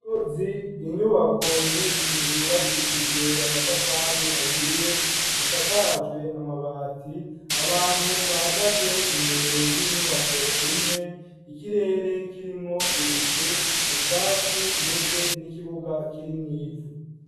Inzuzi, inyubako nyinshi, zubakishijwe amatafari ahiye, zisakajwe Amabati ,abantu bahagaze imbere y'inyubako imwe ,ikirere kirimwo ibicu ,ubwatsi, ndetse n'ikibuga, kiri mwivu.